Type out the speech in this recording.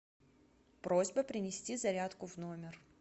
просьба принести зарядку в номер